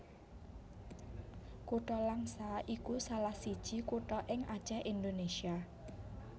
Kutha Langsa iku salah siji kutha ing Acèh Indonésia